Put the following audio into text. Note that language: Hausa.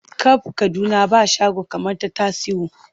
Kab Kaduna ba shago kamar ta Tasiu.